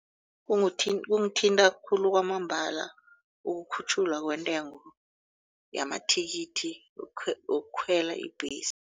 Kungithinta khulu kwamambala ukukhutjhulwa kwentengo yamathikithi wokukhwela ibhesi.